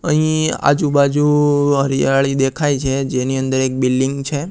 અહીં આજુ બાજુ હરિયાળી દેખાઈ છે જેની અંદર એક બિલ્ડિંગ છે.